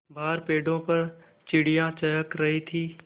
बाहर पेड़ों पर चिड़ियाँ चहक रही थीं